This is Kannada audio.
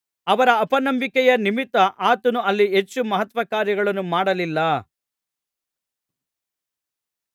ಅವರ ಅಪನಂಬಿಕೆಯ ನಿಮಿತ್ತ ಆತನು ಅಲ್ಲಿ ಹೆಚ್ಚು ಮಹತ್ಕಾರ್ಯಗಳನ್ನು ಮಾಡಲಿಲ್ಲ